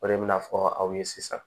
O de bɛna fɔ aw ye sisan